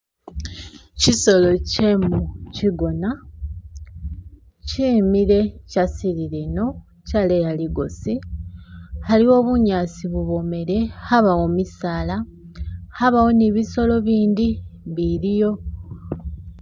Kyisolo kyemuchigona kyimile kyasilile ino kyaleya ligosi haliwo bunyasi bubomele, habawo misaala habawo ni bisolo bindi biliyo